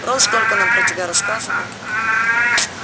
рон столько нам про тебя рассказывал